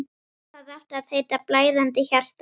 Það átti að heita: Blæðandi hjarta.